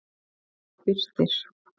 Birtir